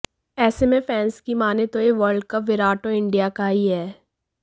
ऐसे में फैंस की मानें तो यह वर्ल्ड कप विराट और इंडिया का ही है